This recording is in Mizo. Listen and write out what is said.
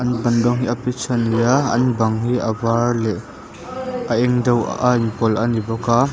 an ban rawng hi a peach a ni a an bang hi a var leh a eng deuh a inpawlh a ni bawk a.